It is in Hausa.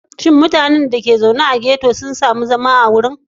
Shin mutanen da ke zaune a yankunan ghetto sun zaɓi zama a wurin?